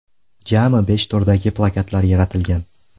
Jami besh turdagi plakatlar yaratilgan.